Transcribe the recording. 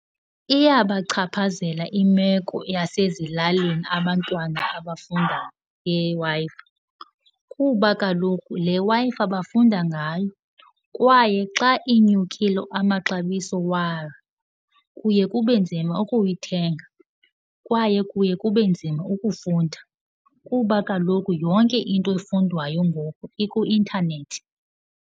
Iyabachaphazela imeko yasezilalini abantwana abafunda ngeWi-Fi kuba kaloku le Wi-Fi bafunda ngayo. Kwaye xa inyukile amaxabiso wayo kuye kube nzima ukuyithenga kwaye kuye kube nzima ukufunda kuba kaloku yonke into efundwayo ngoku ikuintanethi.